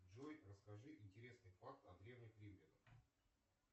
джой расскажи интересные факты о древних римлянах